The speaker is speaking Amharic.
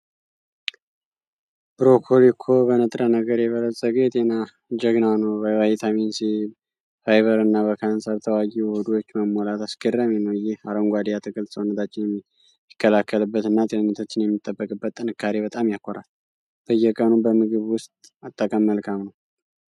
ብሮኮሊ እኮ በንጥረ ነገር የበለፀገ የጤና ጀግና ነው! በቫይታሚን ሲ፣ በፋይበር እና በካንሰር ተዋጊ ውህዶች መሞላቱ አስገራሚ ነው። ይህ አረንጓዴ አትክልት ሰውነታችንን የሚከላከልበት እና ጤንነታችንን የሚጠብቅበት ጥንካሬ በጣም ያኮራል። በየቀኑ በምግብ ውስጥ መጠቀም መልካም ነው!